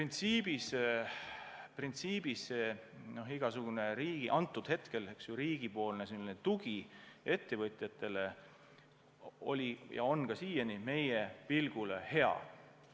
Nii et printsiibis igasugune riigi tugi ettevõtjatele oli ja on ka siiani meie arvates hea.